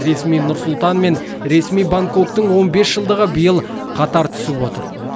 ресми нұр сұлтан мен ресми бангкоктың он бес жылдығы биыл қатар түсіп отыр